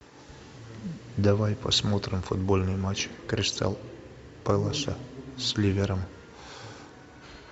давай посмотрим футбольный матч кристал пэласа с ливером